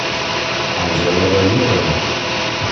анжела владимировна